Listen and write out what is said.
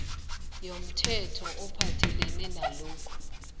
yomthetho ophathelene nalokhu